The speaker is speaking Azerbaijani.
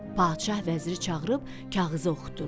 Padşah vəziri çağırıb kağızı oxutdurdu.